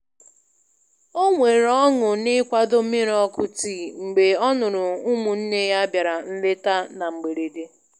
O nwere ọṅụ n'ikwado mmiri ọkụ tii mgbe ọ nụrụ ụmụnne ya bịara nleta na mgberede.